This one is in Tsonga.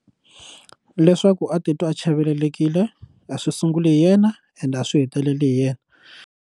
Leswaku a titwa a chavelelekile a swi sunguli hi yena ende a swi heteleli hi yena.